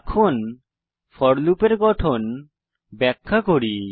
এখন ফোর লুপের গঠন ব্যাখ্যা করি